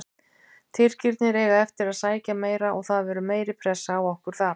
Tyrkirnir eiga eftir að sækja meira og það verður meiri pressa á okkur þar.